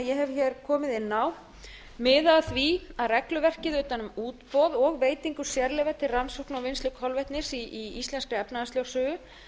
hér komið inn á miða að því að regluverkið utan um útboð og veitingu sérleyfa til rannsókna á vinnu kolvetnis í íslenskri efnahagslögsögu